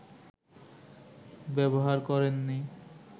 ব্যবহার করেন নি